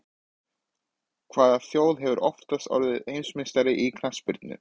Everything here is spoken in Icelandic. Hvaða þjóð hefur oftast orðið heimsmeistari í knattspyrnu?